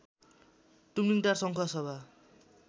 Tumlingtar Sankhuwasabha